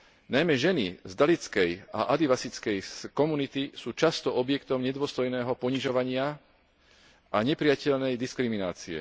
Najmä ženy z dalitskej a adivasickej komunity sú často objektom nedôstojného ponižovania a neprijateľnej diskriminácie.